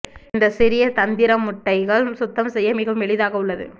இந்த சிறிய தந்திரம் முட்டைகள் சுத்தம் செய்ய மிகவும் எளிதாக உள்ளது